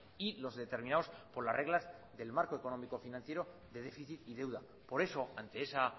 y los determinados por las reglas del marco económico financiero de déficit y deuda por eso ante esa